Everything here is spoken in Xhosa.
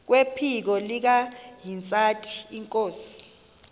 kwephiko likahintsathi inkosi